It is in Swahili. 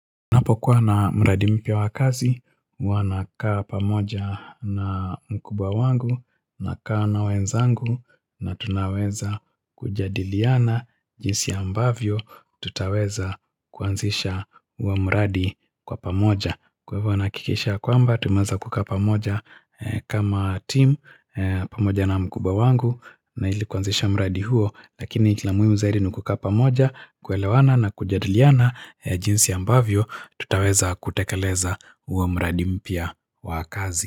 Napo kuwa na mradi mpya wa kazi, huwa nakaa pamoja na mkubwa wangu, nakaa na wenzangu, na tunaweza kujadiliana, jinsi ambavyo, tutaweza, kuanzisha, huo mradi, kwa pamoja. Kwa hivo nahakikisha ya kwamba, tumeza kukaa pamoja, e kama team, e pamoja na mkuba wangu, na ili kuanzisha mradi huo, lakini tla muhimu zaidi ni kukaa pamoja, kuelewana na kujadiliana, e jinsi ambavyo Tutaweza kutekeleza, huo mradi mpya wa kazi.